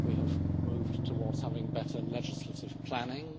We have moved towards having better legislative planning.